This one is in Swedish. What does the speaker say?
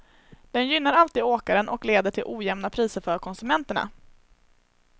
Den gynnar alltid åkaren och leder till ojämna priser för konsumenterna.